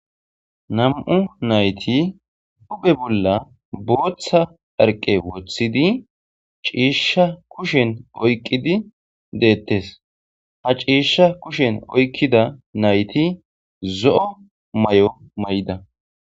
Nam7u nayti dupe bolla booththa arqe woththidi ciisha kushen oyqqidi deettes ha ciisha kushen oykkida nayti zo7o may7o may7ida.